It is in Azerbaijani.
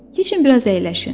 Keçin biraz əyləşin.